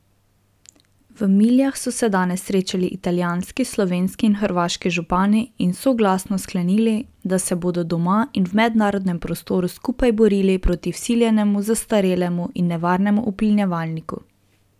V Miljah so se danes srečali italijanski, slovenski in hrvaški župani in soglasno sklenili, da se bodo doma in v mednarodnem prostoru skupaj borili proti vsiljenemu, zastarelemu in nevarnemu uplinjevalniku.